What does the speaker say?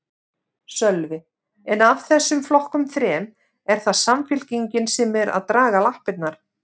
Sölvi: En af þessum flokkum þrem, er það Samfylkingin sem er að draga lappirnar?